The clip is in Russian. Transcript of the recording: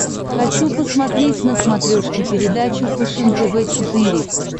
хочу посмотреть на смотрешке передачу фэшен тв четыре к